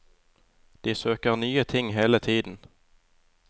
De søker nye ting hele tiden.